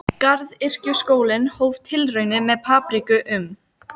Garðyrkjuskólinn hóf tilraunir með papriku um